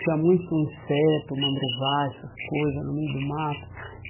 Tinha muito inseto, mandruvai, essas coisas no meio do mato.